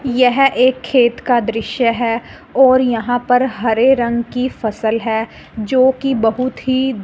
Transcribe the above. यह एक खेत का दृश्य है और यहां पर हरे रंग की फसल है जो कि बहुत ही--